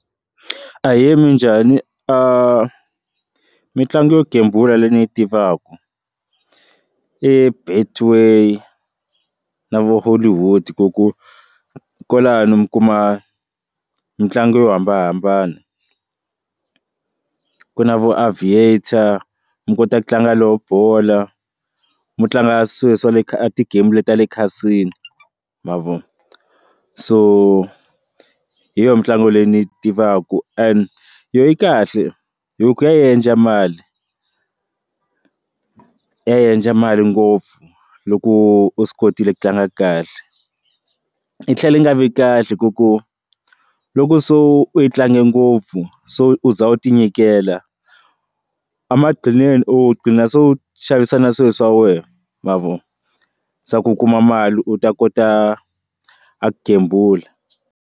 Ahee, minjhani? mitlangu yo gembula leyi ni yi tivaku i Betway na vo Hollywood ku ku kwalano mi kuma mitlangu yo hambanahambana ku na vo Aviator mi kota ku tlanga lowu bola mitlanga ya swale swale tigemu ta le cassino ma vo so hi yona mitlangu leyi ni yi tivaka and yo yi kahle hi ku ya endla mali ku endla mali ngopfu loko u swi kotile ku tlanga kahle yi tlhela yi nga vi kahle ku ku loko so u yi tlange ngopfu so u za u tinyikela emaqhineni u qhina swo xavisa na swilo swa wena ma vo swa ku u kuma mali u ta kota ku gembula.